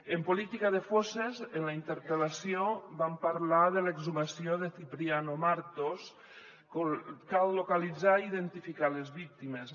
en política de fosses en la interpel·lació vam parlar de l’exhumació de cipriano martos cal localitzar i identificar les víctimes